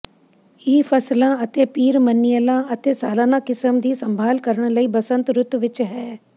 ਇਹ ਫਸਲਾਂ ਅਤੇ ਪੀਰਮਨੀਅਲਾਂ ਅਤੇ ਸਾਲਾਨਾ ਕਿਸਮ ਦੀ ਸੰਭਾਲ ਕਰਨ ਲਈ ਬਸੰਤ ਰੁੱਤ ਵਿੱਚ ਹੈ